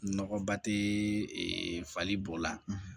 Nɔgɔba tɛ e fali b'o la